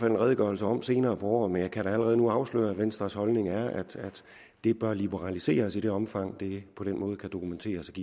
en redegørelse om senere på året men jeg kan da allerede nu afsløre at venstres holdning er at det bør liberaliseres i det omfang det på den måde kan dokumenteres